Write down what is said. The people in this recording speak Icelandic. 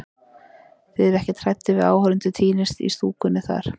Þið eruð ekkert hræddir við að áhorfendur týnist í stúkunni þar?